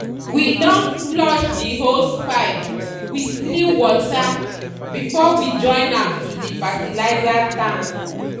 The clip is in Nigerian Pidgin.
we don flush the hosepipe with clean water before we join am to the fertilizer tank.